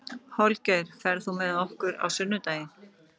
Holgeir, ferð þú með okkur á sunnudaginn?